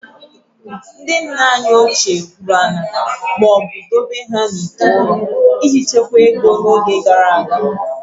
Ndị nna anyị ochie gwuru ala ma ọ bụ dobe ha n'ite ụrọ iji chekwaa ego n'oge gara aga